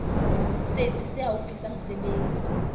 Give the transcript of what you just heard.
setsi se haufi sa mesebetsi